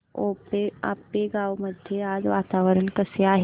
आपेगाव मध्ये आज वातावरण कसे आहे